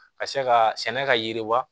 Ka se ka sɛnɛ ka yiriwa